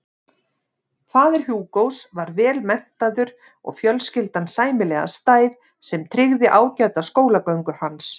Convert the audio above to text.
Faðir Hugos var vel menntaður og fjölskyldan sæmilega stæð sem tryggði ágæta skólagöngu hans.